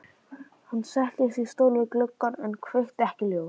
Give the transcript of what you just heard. Hann settist í stól við gluggann en kveikti ekki ljós.